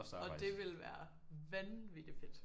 Og det ville være vanvittig fedt